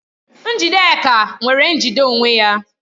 Njidenka nwere njide onwe ya